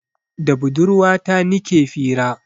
Da budurwa ta nike fira